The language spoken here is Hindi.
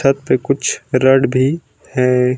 छत पे कुछ रॉड भी हैं।